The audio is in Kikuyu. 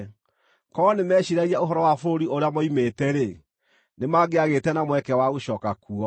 Korwo nĩmeeciiragia ũhoro wa bũrũri ũrĩa moimĩte-rĩ, nĩ mangĩagĩte na mweke wa gũcooka kuo.